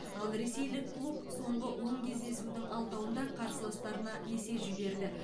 ал ресейлік клуб соңғы он кездесудің алтауында қарсыластарына есе жіберді